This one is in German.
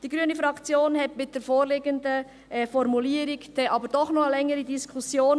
Die grüne Fraktion hatte wegen der vorliegenden Formulierung doch noch eine längere Diskussion.